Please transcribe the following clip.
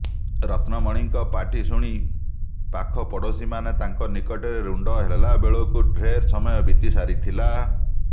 ରତ୍ନମଣିଙ୍କ ପାଟିଶୁଣି ପାଖପଡ଼ୋଶୀମାନେ ତାଙ୍କ ନିକଟରେ ରୁଣ୍ଡ ହେଲାବେଳକୁ ଢ଼େର୍ ସମୟ ବିତି ସାରିଥିଲା